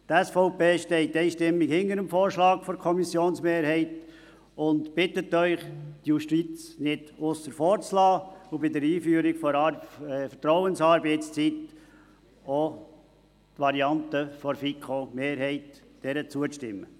Die SVP steht einstimmig hinter dem Vorschlag der Kommissionsmehrheit und bittet Sie, die Justiz nicht aussen vor zu lassen und bei der Einführung der Vertrauensarbeitszeit der Variante der FiKoMehrheit zuzustimmen.